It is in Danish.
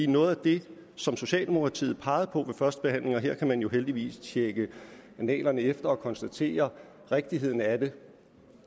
noget af det som socialdemokratiet pegede på ved førstebehandlingen og her kan man jo heldigvis tjekke efter i annalerne og konstatere rigtigheden af